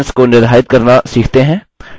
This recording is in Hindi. training options क्या हैं